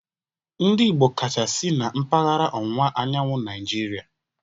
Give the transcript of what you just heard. Ndị Igbo kacha si na mpaghara ọwụwa anyanwụ Naijiria